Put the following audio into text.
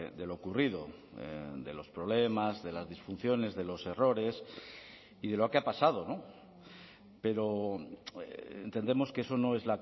de lo ocurrido de los problemas de las disfunciones de los errores y de lo que ha pasado pero entendemos que eso no es